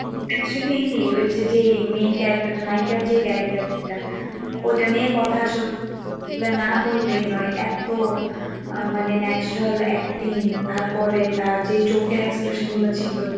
actually ওই যে যে main character টা নায়িকার যে character টা ওটা নিয়ে কথা আসলে না বললেই নয় এক তো, আহ মানে natural acting তারপরে তারযে চোখের expression গুলা ছিল